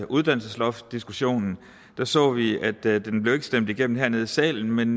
uddannelsesloftdiskussionen så vi at den ikke blev stemt igennem hernede i salen men